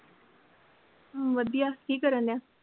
ਵਧੀਆ ਕੀ ਕਰਨ ਡਿਹਾ ਆ?